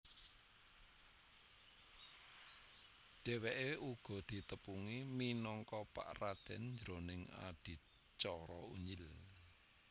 Dhèwèké uga ditepungi minangka Pak Raden jroning adicara Unyil